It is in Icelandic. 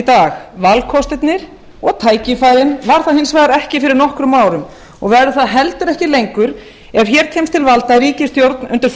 dag valkostirnir og tækifærin var það hins vegar ekki fyrir nokkrum árum og var það heldur ekki lengur ef hér kemur til valda ríkisstjórn undir